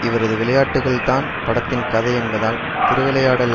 இவரது விளையாட்டுக்கள் தான் படத்தின் கதை என்பதால் திருவிளையாடல்